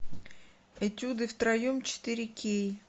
этюды втроем четыре кей